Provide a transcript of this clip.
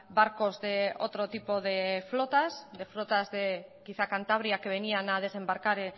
barcos de otro tipo de flotas de flotas quizá de cantabria que venían a desembarcar